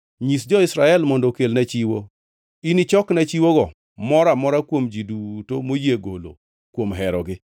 “Nyis jo-Israel mondo okelna chiwo. Inichokna chiwogo moro amora kuom ji duto moyie golo kuom herogi.